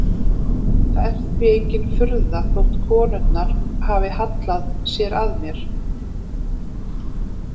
Það er því engin furða þótt konurnar hafi hallað sér að mér.